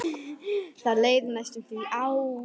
Það leið næstum því ár.